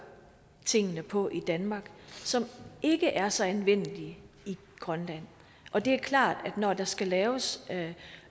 tingene på i danmark som ikke er så anvendelige i grønland og det er klart at når der skal laves